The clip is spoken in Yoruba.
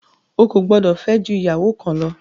O kò gbọdọ̀ fẹ́ jù ìyàwó kan lọ!